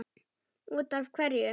Út af hverju?